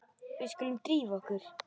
Við skulum drífa okkur.